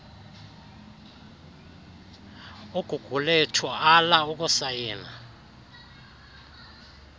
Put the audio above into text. ugugulethu ala ukusayina